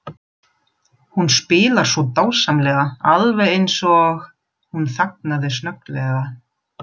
Hún spilar svo dásamlega, alveg eins og. Hún þagnaði snögglega.